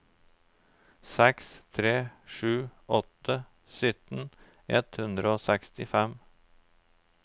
seks tre sju åtte syttien ett hundre og sekstifem